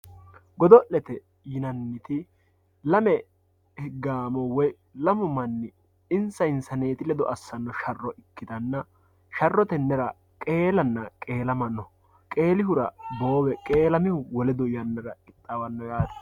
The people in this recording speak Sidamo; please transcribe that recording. godo'lete yinanniti lame gaamo woyi lamu manni insa insaneeti lede assanno sharro ikkitanna sharro tennera qeelanna qeelama no qeelihura boowe qeelamihu wole yannara qixxaawanno yaate.